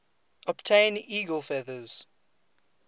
obtain eagle feathers